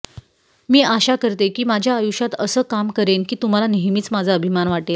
मी आशा करते की माझ्या आयुष्यात असं काम करेन की तुम्हाला नेहमीच माझा अभिमान वाटेल